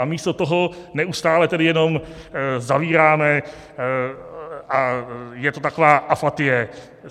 A místo toho neustále tedy jenom zavíráme a je to taková apatie.